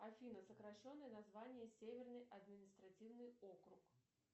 афина сокращенное название северный административный округ